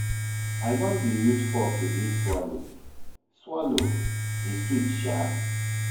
I don dey use fork to eat swallow, swallow, e sweet Sha.